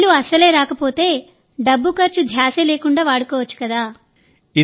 bill అసలే రాకపోతే డబ్బు ఖర్చు ధ్యాసే లేకుండా వాడుకోవచ్చు కదా